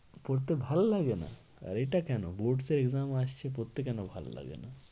পড়তে ভালো লাগে না? এটা কেন? boards এর exam আসছে পড়তে কেন ভালো লাগে না?